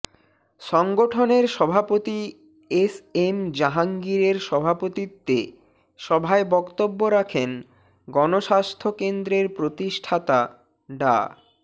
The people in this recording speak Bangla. সংগঠনের সভাপতি এসএম জাহাঙ্গীরের সভাপতিত্বে সভায় বক্তব্য রাখেন গণস্বাস্থ্য কেন্দ্রের প্রতিষ্ঠাতা ডা